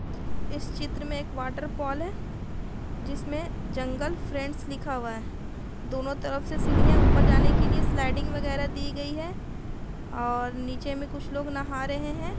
इस चित्र में एक वाटरफल है जिसमें जंगल फ़्रेंड्स लिखा हुआ है दोनों तरफ से सीढ़ियां है ऊपर जाने के लिए स्लाइडिंग वगेरा दी गई है और नीचे में कुछ लोग नहा रहे हैं ।